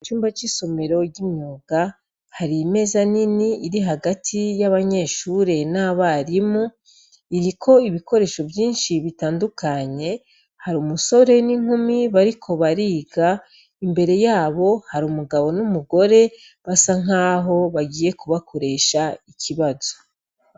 Icumba c'isomero ryimyuga, har'imeza nin'irihagati y'abanyeshure n'abarimu, irik'ibikoresho vyinshi bitandukanye, har'umusore n'inkumi bariko bariga, imbere yabo har'umugabo n'umugore basankaho bagiye kubakoresh'ikibazo.